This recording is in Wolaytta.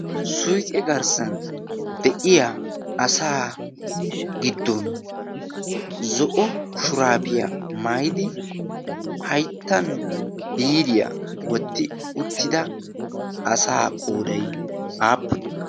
suiqe garssan de7iya asaa giddon zo7o shuraafiyaa maidi haittan biriyaa wotti uttida asaa qoodai aappuni